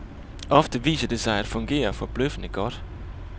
Ofte viser det sig at fungere forbløffende godt.